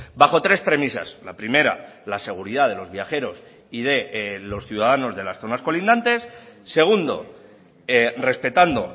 bajo tres premisas la primera la seguridad de los viajeros y de los ciudadanos de las zonas colindantes segundo respetando